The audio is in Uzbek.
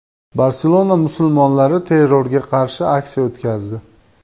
Barselona musulmonlari terrorga qarshi aksiya o‘tkazdi.